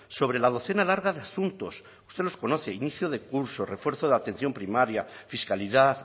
sobre la docena larga de asuntos usted los conoce inicio de curso refuerzo de atención primaria fiscalidad